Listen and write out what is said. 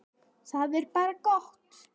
Það er bara gott.